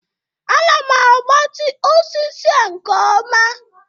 Ana m agbatị osisi a nke ọma